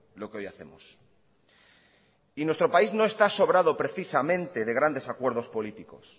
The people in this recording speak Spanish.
lo que hoy hacemos y nuestro país no está sobrado precisamente de grandes acuerdos políticos